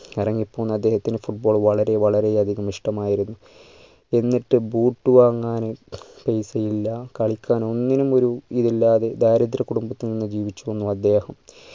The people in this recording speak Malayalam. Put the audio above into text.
കരഞ്ഞു പോന്ന അദ്ദേഹത്തിന് football വളരെ വളരെ അധികം ഇഷ്ട്ടമായിരുന്നു എന്നിട്ട് boot വാങ്ങാൻ പൈസ ഇല്ല കളിക്കാനോ ഒന്നിനും ഒരു ഇത് ഇല്ലാതെ ദാരിദ്ര്യ കുടുംബത്തിൽ നിന്ന് ജീവിച്ചു വന്നു അദ്ദേഹം